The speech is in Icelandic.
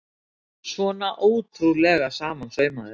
Svona ótrúlega samansaumaður!